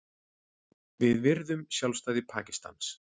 Við virðum sjálfstæði Pakistans